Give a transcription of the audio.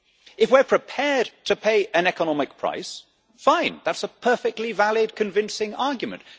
If we are prepared to pay an economic price, fine that is a perfectly valid convincing argument.